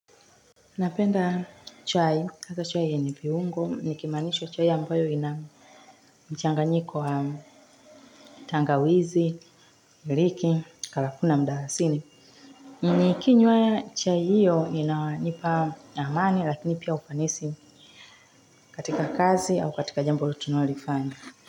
Napenda chai, hasa chai yenye viungo, nikimaanisha chai ambayo ina mchanganyiko wa tangawizi, iliki, karafuu na mdalasini. Nikinywa chai hiyo inanipa amani lakini pia ufanisi katika kazi au katika jambo lolote tunalolifanya.